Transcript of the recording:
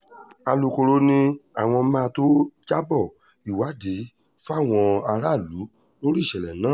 alūkkóró ni àwọn máa tóó jábọ́ ìwádìí fáwọn aráàlú lórí ìṣẹ̀lẹ̀ náà